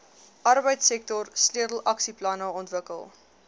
arbeidsektor sleutelaksieplanne ontwikkel